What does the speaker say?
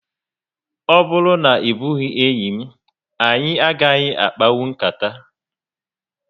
O bụrụ na ebughi enyị m, anyị agaghị akpanwu nkata